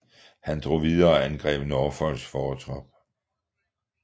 Han drog videre og angreb Norfolks fortrop